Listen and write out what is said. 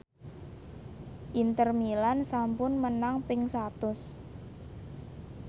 Inter Milan sampun menang ping satus